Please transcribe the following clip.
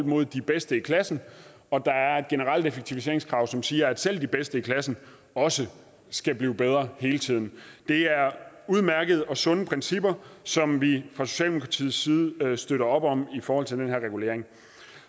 imod de bedste i klassen og der er et generelt effektiviseringskrav som siger at selv de bedste i klassen også skal blive bedre hele tiden det er udmærkede og sunde principper som vi fra socialdemokratiets side støtter op om i forhold til den her regulering